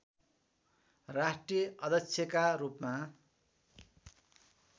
राष्ट्रिय अध्यक्षका रूपमा